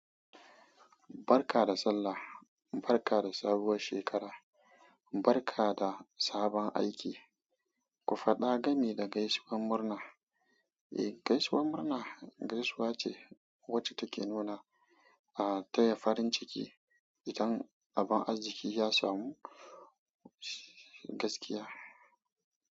Barka da Sallah, barka da sabuwar shekara, barka da sabon aiki, ku faɗa gami da gaisuwar murna. Eh, gaisuwar murna gaisuwa ce wacce take nuna, ah, taya farin ciki idan abin arziki ya samu gaskiya.